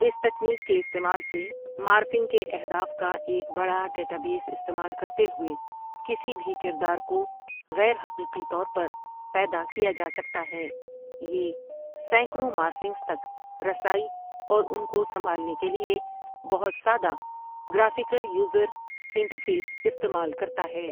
اس technique کے استعمال سے، مارفنگ کے اہداف کا ایک بڑا ڈیٹابیس استعمال کرتے ہوئے کسی بھی کردار کو غیر حقیقی طور پر پیدا کیا جاسکتا ہے یہ سینکڑوں مارفںگز تک رسائی اور ان کو سمبالنے کے لیے بہت سادہ گرافیکل یوزر انٹرفیس استعمال کرتا ہے۔